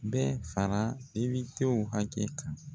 Bɛ fara depitew hakɛ kan.